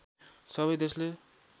सबै देशले